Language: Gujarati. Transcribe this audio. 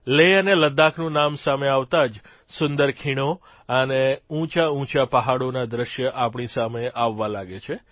લેહ અને લદ્દાખનું નામ સામે આવતાં જ સુંદર ખીણો અને ઉંચાઉંચા પહાડોના દ્રશ્યો આપણી સામે આવવા લાગે છે